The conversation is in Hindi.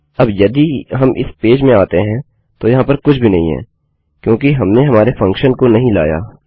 अब यदि हम इस पेज में आते हैंतो यहाँ पर कुछ भी नहीं है क्योंकि हमने हमारे फंक्शन को नही लाया